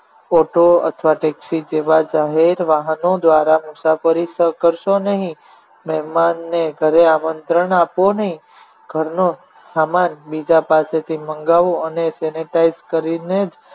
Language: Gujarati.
Auto અથવા taxi જેવા જાહેર વાહનો દ્વારા મુસાફરી કરશો નહીં મહેમાનને ઘરે આમંત્રણ આપો નહિ ઘરનો સામાન બીજા પાસેથી મંગાવો અને તેને sanitize કરીને જ